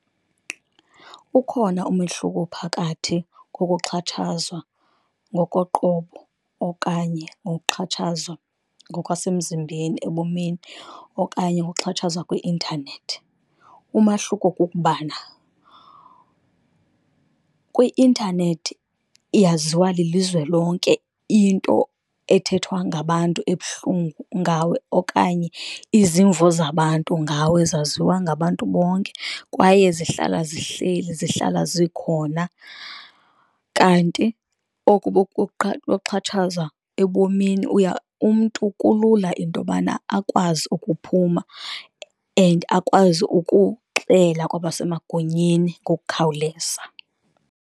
Ukhona umehluko phakathi kokuxhatshazwa ngokoqobo okanye ngokuxhatshazwa ngokwasemzimbeni ebomini, okanye ukuxhatshazwa kwi-intanethi. Umahluko kukubana kwi-intanethi yaziwa lilizwe lonke into ethethwa ngabantu ebuhlungu ngawe, okanye izimvo zabantu ngawe zaziwa ngabantu bonke kwaye zihlala zihleli, zihlala zikhona. Kanti oku kokuxhatshazwa ebomini, uya umntu kulula into yobana akwazi ukuphuma and akwazi ukuxela kwabasemagunyeni ngokukhawuleza.